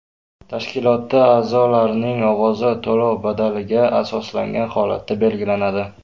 Tashkilotda a’zolarning ovozi to‘lov badallariga asoslangan holatda belgilanadi.